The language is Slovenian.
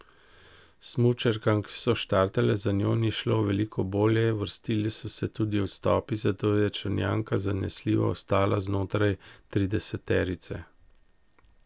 Smučarkam, ki so štartale za njo, ni šlo veliko bolje, vrstili so se tudi odstopi, zato je Črnjanka zanesljivo ostala znotraj trideseterice.